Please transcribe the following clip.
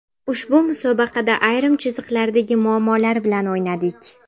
Ushbu musobaqada ayrim chiziqlardagi muammolar bilan o‘ynadik.